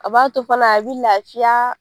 A b'a to fana a bɛ lafiya